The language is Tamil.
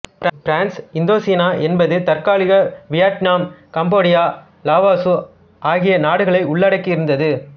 பிரெஞ்சு இந்தோசீனா என்பது தற்கால வியட்நாம் கம்போடியா லாவோசு ஆகிய நாடுகளை உள்ளடக்கியிருந்தது